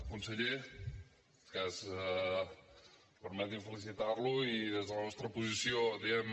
conseller permeti’m felicitar lo i des de la nostra posició diem